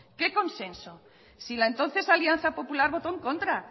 qué consenso si la entonces alianza popular votó en contra